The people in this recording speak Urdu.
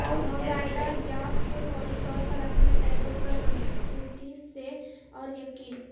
نوزائیدہ یاک کو فوری طور پر اپنے پیروں پر مضبوطی سے اور یقین